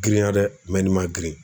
Girinya dɛ nin ma girin